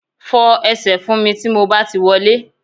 Fọ ẹsẹ̀ fún mi tí mo bá ti wọlé